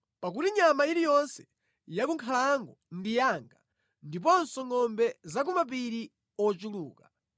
pakuti nyama iliyonse yakunkhalango ndi yanga ndiponso ngʼombe za ku mapiri ochuluka.